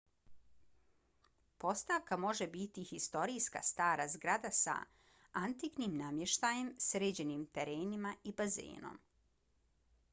postavka može biti historijska stara zgrada sa antiknim namještajem sređenim terenima i bazenom